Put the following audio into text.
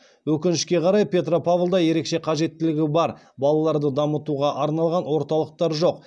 өкінішке қарай петропавлда ерекше қажеттілігі бар балаларды дамытуға арналған орталықтар жоқ